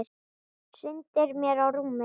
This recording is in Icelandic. Hrindir mér á rúmið.